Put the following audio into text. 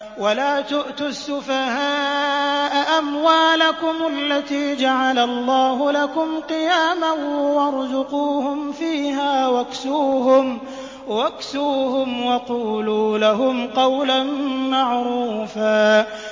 وَلَا تُؤْتُوا السُّفَهَاءَ أَمْوَالَكُمُ الَّتِي جَعَلَ اللَّهُ لَكُمْ قِيَامًا وَارْزُقُوهُمْ فِيهَا وَاكْسُوهُمْ وَقُولُوا لَهُمْ قَوْلًا مَّعْرُوفًا